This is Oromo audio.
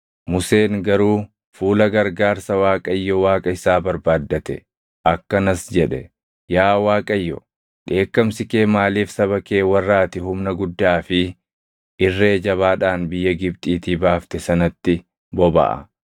Museen garuu fuula gargaarsa Waaqayyo Waaqa isaa barbaaddate; akkanas jedhe; “Yaa Waaqayyo, dheekkamsi kee maaliif saba kee warra ati humna guddaa fi irree jabaadhaan biyya Gibxiitii baafte sanatti bobaʼa?